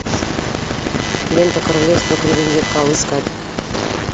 лента королевство кривых зеркал искать